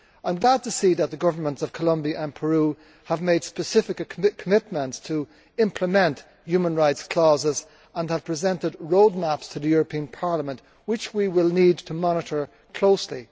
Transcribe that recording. I am glad to see that the Governments of Colombia and Peru have made specific commitments to implement human rights clauses and have presented roadmaps to the European Parliament, which we will need to monitor closely.